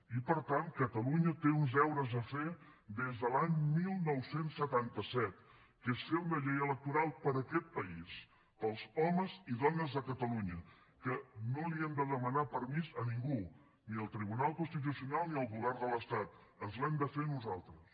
i per tant catalunya té uns deures a fer des de l’any dinou setanta set que és fer una llei electoral per a aquest país per als homes i dones de catalunya que no li hem de demanar permís a ningú ni al tribunal constitucional ni al govern de l’estat ens l’hem de fer nosaltres